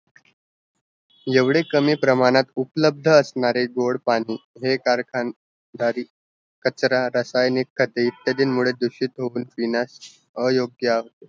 एवढे कमी प्रमाणात उपलब्ध असणारे गोड पाणी हे कारखानदारी कचरा रासायनिक दूषित होईन दिनात अयोग्य